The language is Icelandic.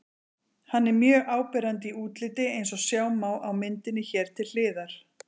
Hann er mjög áberandi í útliti eins og sjá má á myndinni hér til hliðar.